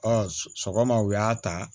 sɔgɔma u y'a ta